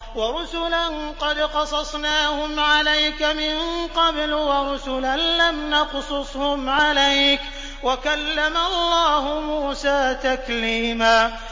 وَرُسُلًا قَدْ قَصَصْنَاهُمْ عَلَيْكَ مِن قَبْلُ وَرُسُلًا لَّمْ نَقْصُصْهُمْ عَلَيْكَ ۚ وَكَلَّمَ اللَّهُ مُوسَىٰ تَكْلِيمًا